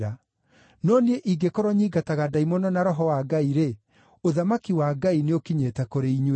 No niĩ ingĩkorwo nyiingataga ndaimono na Roho wa Ngai-rĩ, ũthamaki wa Ngai nĩũkinyĩte kũrĩ inyuĩ.